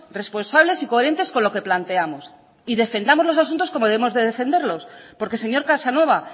responsables y coherentes con lo que planteamos y defendamos los asuntos como debemos de defenderlos porque señor casanova